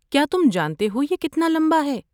کیا تم جانتے ہو یہ کتنا لمبا ہے؟